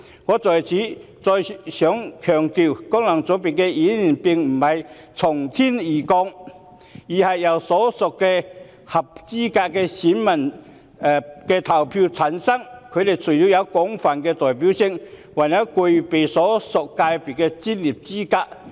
我想在此強調，功能界別的議員並非"從天而降"，而是由所屬界別的合資格選民投票產生，除了有廣泛代表性外，還具備所屬界別的專業資格。